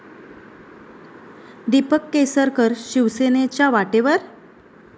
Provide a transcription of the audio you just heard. दीपक केसरकर शिवसेनेच्या वाटेवर?